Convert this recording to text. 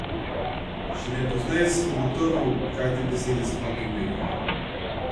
Šele pozneje sem ugotovil, kaj te besede sploh pomenijo.